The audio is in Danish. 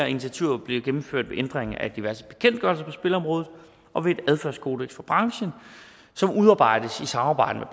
initiativer bliver gennemført ved ændringer af diverse bekendtgørelser på spilområdet og ved et adfærdskodeks for branchen som udarbejdes i samarbejde med